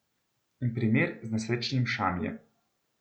In primer z nesrečnim Šamijem.